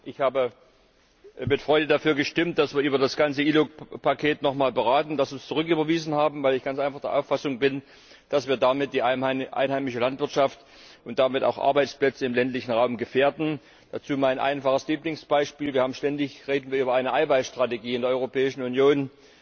Ich habe mit Freude dafür gestimmt, dass wir über das ganze ILUC Paket noch einmal beraten, dass wir es zurücküberweisen, weil ich ganz einfach der Auffassung bin, dass wir damit die einheimische Landwirtschaft und damit auch Arbeitsplätze im ländlichen Raum gefährden. Dazu mein einfaches Lieblingsbeispiel Wir reden ständig über eine Eiweißstrategie in der Europäischen Union.